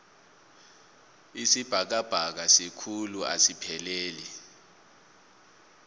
isibhakabhaka sikhulu asipheleli